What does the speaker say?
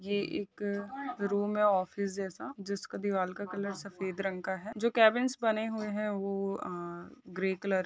ये एक रूम है ऑफिस जैसा जिसके दीवार का कलर सफेद रंग का हैं जो केबिन्स बने हुए है वो अ ग्रे कलर --